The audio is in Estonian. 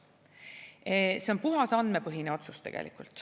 See on tegelikult puhas andmepõhine otsus.